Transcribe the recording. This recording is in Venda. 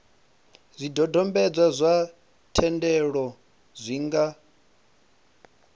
zwidodombedzwa zwa thendelo zwi nga